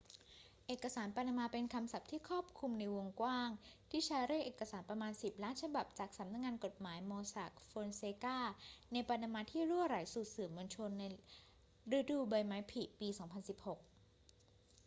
เอกสารปานามาเป็นคำศัพท์ที่ครอบคลุมในวงกว้างที่ใช้เรียกเอกสารประมาณสิบล้านฉบับจากสำนักงานกฎหมาย mossack fonseca ในปานามาที่รั่วไหลสู่สื่อมวลชนในฤดูใบไม้ผลิปี 2016